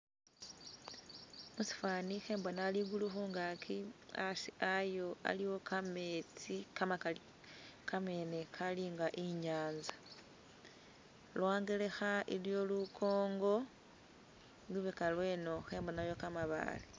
Mushifani khembona ligulu khungagi hasi hayo haliwo gametsi gamagali kamene galinga inyanza lwangelekha iliyo lugongo lubega lweno khembonayo gamabaale.